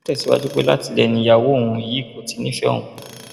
ó tẹsíwájú pé látilẹ ni ìyàwó òun yìí kò ti nífẹẹ òun